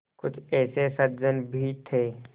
कुछ ऐसे सज्जन भी थे